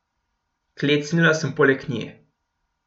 Klecnila sem poleg nje.